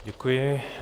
Děkuji.